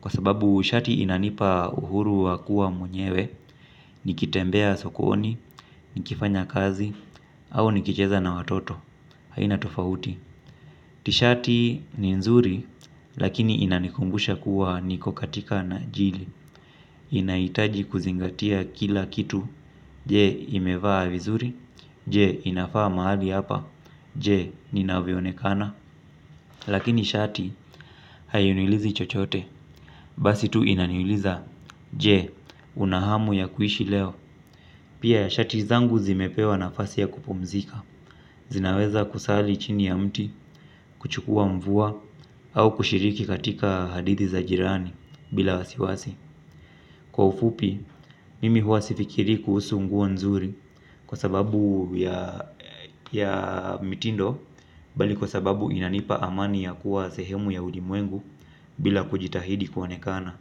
kwa sababu shati inanipa uhuru wa kuwa mwenyewe nikitembea sokoni, nikifanya kazi, au nikicheza na watoto. Haina tofauti. Tishati ni nzuri. Lakini inanikumbusha kuwa niko katika na jili. Inahitaji kuzingatia kila kitu je imevaa vizuri je inafaa mahali hapa je inavyoonekana. Lakini shati haini ulizi chochote. Basi tu inaniuliza je una hamu ya kuishi leo. Pia ya shati zangu zimepewa nafasi ya kupumzika. Zinaweza kusali chini ya mti. Kuchukua mvua au kushiriki katika hadithi za jirani bila wasiwasi. Kwa ufupi, mimi huwa sifikiri kuhusu nguo nzuri kwa sababu ya mitindo bali kwa sababu inanipa amani ya kuwa sehemu ya ulimwengu bila kujitahidi kuonekana.